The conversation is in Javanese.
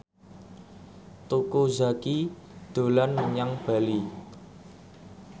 Teuku Zacky dolan menyang Bali